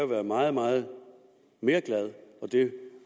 være meget meget mere glad og det